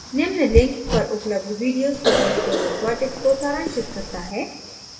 निम्न link पर उपलब्ध video spoken tutorial project को सारांशित करता है